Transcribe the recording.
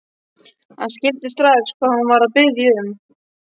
Hann skildi strax hvað hún var að biðja um.